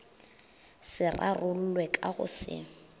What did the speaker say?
se rarollwe ka go se